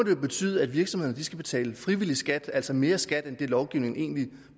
jo betyde at virksomhederne skal betale frivillig skat altså mere i skat end det lovgivningen